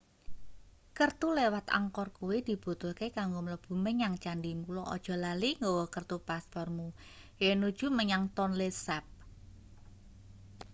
kertu liwat angkor kuwi dibutuhke kanggo mlebu menyang candhi mula aja lali nggawa kertu paspormu yennuju menyang tonle sap